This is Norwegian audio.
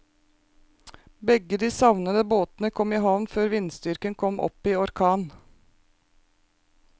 Begge de savnede båtene kom i havn før vindstyrken kom opp i orkan.